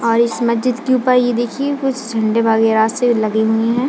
और इस मस्जिद के ऊपर यह देखिए कुछ झंडे वागेरा से लगे हुए हैं।